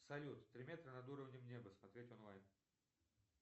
салют три метра над уровнем неба смотреть онлайн